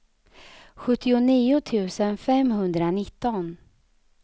sjuttionio tusen femhundranitton